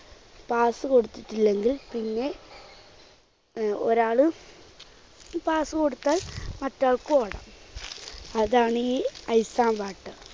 pass കൊടുത്തിട്ടില്ലെങ്കിൽ പിന്നെ ഒരാള് pass കൊടുത്താൽ മറ്റേ ആൾക്ക് ഓടാം. അതാണീ ice and water.